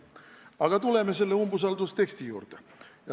Aga tuleme selle umbusaldusavalduse teksti juurde.